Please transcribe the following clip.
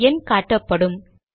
ஒரு எண் காட்டப்படும்